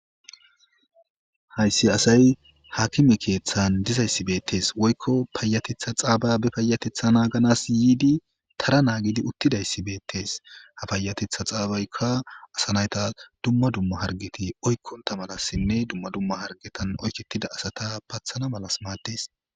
hayssi asay haakime keeththan dizayssi beettes woykko payatetha xaababe payatetha naaganas yiidi tara naagidi uttidayssi beettes ha payatetha xaabaykka asanayta dumma dumma hargeti oykkonta malassinne dumma dumma hargetan oykettida asata pathana malas maates